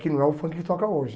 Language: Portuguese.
Que não é o funk que toca hoje.